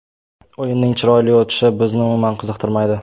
O‘yinning chiroyli o‘tishi bizni umuman qiziqtirmaydi.